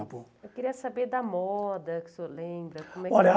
Eu queria saber da moda que o senhor lembra. Olha a